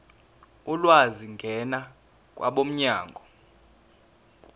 ulwazi ngena kwabomnyango